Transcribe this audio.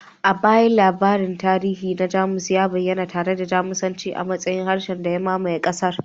A baya, labarin tarihi na Jamus ya bayyana tare da Jamusanci a matsayin harshen da ya mamaye ƙasar